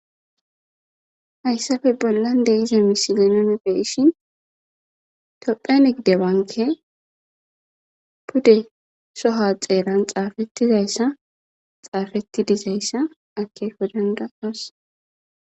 Hayssafe bollan de ize misigenone feishin tophene gidewanke pude soha xeelan xaafettizayssa xaafetti dizayssa ake wodanda as